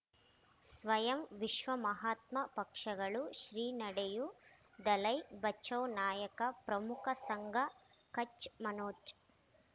ಸ್ವಯಂ ವಿಶ್ವ ಮಹಾತ್ಮ ಪಕ್ಷಗಳು ಶ್ರೀ ನಡೆಯೂ ದಲೈ ಬಚೌ ನಾಯಕ ಪ್ರಮುಖ ಸಂಘ ಕಚ್ ಮನೋಜ್